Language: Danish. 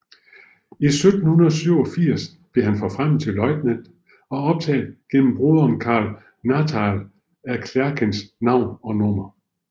I 1787 blev han forfremmet til løjtnant og optaget gennem broderen Karl Nathanael af Klerckers navn og nummer